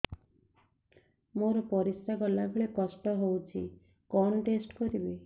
ମୋର ପରିସ୍ରା ଗଲାବେଳେ କଷ୍ଟ ହଉଚି କଣ ଟେଷ୍ଟ କରିବି